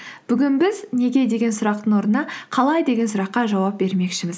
бүгін біз неге деген сұрақтың орнына қалай деген сұраққа жауап бермекшіміз